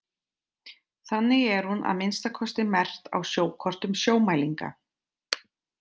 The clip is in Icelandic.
Þannig er hún að minnsta kosti merkt á sjókortum Sjómælinga.